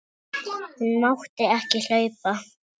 Hún mátti ekki hlaupa.